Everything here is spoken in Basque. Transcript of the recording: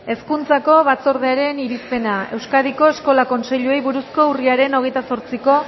hezkuntzako batzordearen irizpena euskadiko eskola kontseiluei buruzko urriaren hogeita zortziko